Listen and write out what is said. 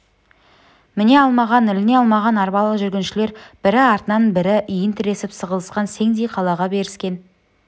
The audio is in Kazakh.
міне алмаған іліне алмаған арбалы жүргіншілер бірі артынан бірі иін тіресіп сығылысқан сеңдей қала беріскен